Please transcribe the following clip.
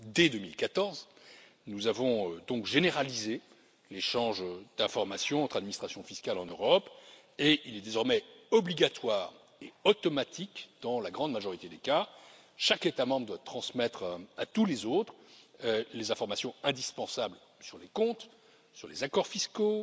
Dès 2014, nous avons donc généralisé l'échange d'informations entre les administrations fiscales en Europe et celui ci est désormais obligatoire et automatique dans la grande majorité des cas chaque État membre doit transmettre à tous les autres les informations indispensables sur les comptes, sur les accords fiscaux